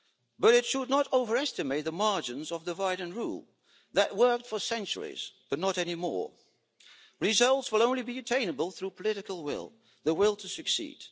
But it should not overestimate the margins of divide and rule that worked for centuries but not anymore. Results will only be attainable through political will the will to succeed.